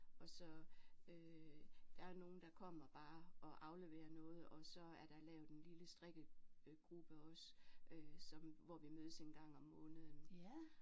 Og så øh der er nogle der kommer bare og afleverer noget og så er der lavet en lille strikke øh gruppe også som hvor vi mødes en gang om måneden